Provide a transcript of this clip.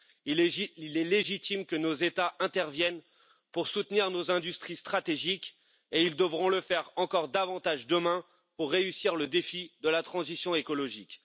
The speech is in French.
Il est légitime que nos États interviennent pour soutenir nos industries stratégiques et ils devront le faire encore davantage demain pour relever le défi de la transition écologique.